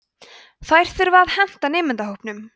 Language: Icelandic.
þær þurfa að henta nemendahópnum